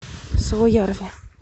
суоярви